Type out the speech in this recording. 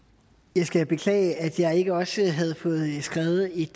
jeg skal beklage at jeg ikke også havde fået skrevet et